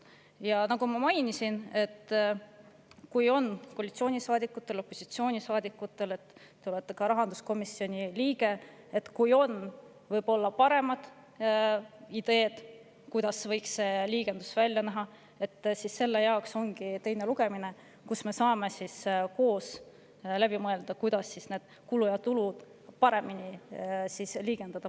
Ja nagu ma mainisin, kui koalitsioonisaadikutel või opositsioonisaadikutel – te olete ka rahanduskomisjoni liige – on paremaid ideid, kuidas võiks see liigendus välja näha, siis selle jaoks ongi teine lugemine, kus me saame selle üheskoos läbi mõelda, kuidas neid kulusid ja tulusid baasseaduses paremini liigendada.